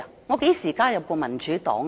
我何時加入過民主黨？